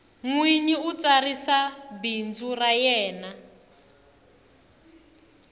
nwinyi u tsarisa bindzu ra yena